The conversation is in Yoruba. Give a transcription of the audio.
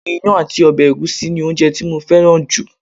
Ìyàn àti ọ̀bẹ ẹ̀gúsí ni oúnjẹ tí mo fẹ́ràn jù